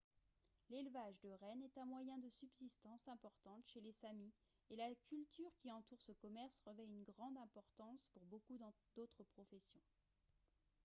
l'élevage de rennes est un moyen de subsistance important chez les samis et la culture qui entoure ce commerce revêt une grande importance pour beaucoup d'autres professions